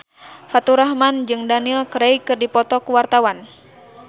Faturrahman jeung Daniel Craig keur dipoto ku wartawan